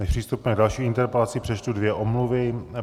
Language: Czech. Než přistoupíme k další interpelaci, přečtu dvě omluvy.